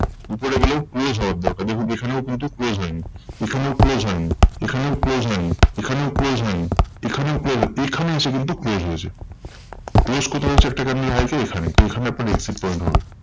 উপরে গেলেও close হওয়ার দরকার। দেখুন এখানেও কিন্তু close হয়নি। এখানেও close হয়নি। এখানেও close হয়নি। এখানেও close হয়নি। এখানেও close হয়নি। এখানে এসে কিন্তু close হয়েছে। close কোথায় হয়েছে একটা candle high তে? এখানে তো এখানে আপনার exit point হবে।